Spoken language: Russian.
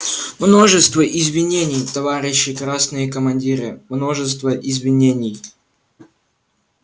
множество извинений товарищи красные командиры множество извинений